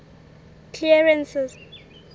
clarence's